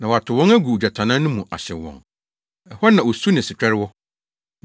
na wɔatow wɔn agu ogyatannaa no mu, ahyew wɔn. Ɛhɔ na osu ne setwɛre wɔ.